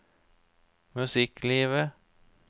musikklivet